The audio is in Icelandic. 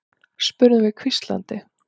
spurðum við hvíslandi.